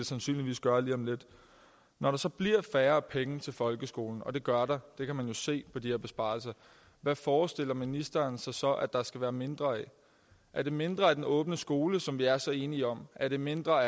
sandsynligvis gør lige om lidt når der så bliver færre penge til folkeskolen og det gør der det kan man jo se på de her besparelser hvad forestiller ministeren sig så at der skal være mindre af er det mindre af den åbne skole som vi er så enige om er det mindre